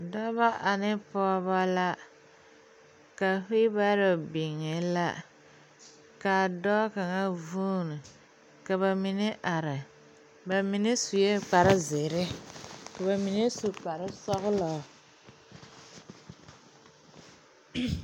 Dɔba ane pɔgeba la ka weel baaro biŋe la ka dɔɔ kaŋ vuuni ka ba mine are ba mine sue kparezeere ka ba mine su kparesɔglɔ.